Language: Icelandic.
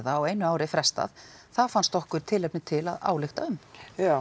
á einu ári frestað það fannst okkur tilefni til að álykta um já